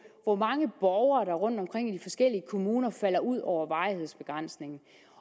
hvor mange borgere der rundtomkring i de forskellige kommuner falder ud over varighedsbegrænsningen